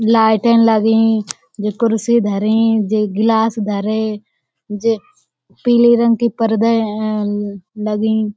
लाइटें लगीं जे कुर्सी धरीं जे गिलास धरे जे पीले रंग के पर्दे ऐं लगीं।